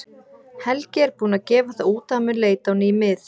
Helgi er búinn að gefa það út að hann mun leita á ný mið.